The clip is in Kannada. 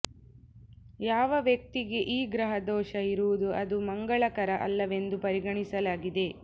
ಯಾವ ವ್ಯಕ್ತಿಗೆ ಈ ಗ್ರಹ ದೋಷ ಇರುವುದು ಅದು ಮಂಗಳಕರ ಅಲ್ಲವೆಂದು ಪರಿಗಣಿಸಲಾಗಿದೆ